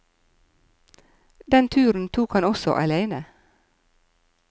Den turen tok han også aleine.